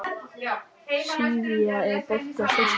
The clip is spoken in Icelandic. Sivía, er bolti á föstudaginn?